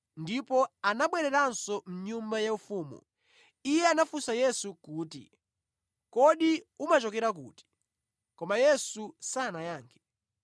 ndipo anabwereranso mʼnyumba yaufumu. Iye anafunsa Yesu kuti, “Kodi umachokera kuti?” Koma Yesu sanayankhe.